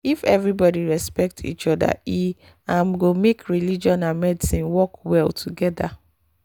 if everybody respect each other e um go make religion and medicine work well together.